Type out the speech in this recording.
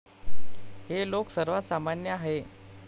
हे लोक सर्वात सामान्य आहे.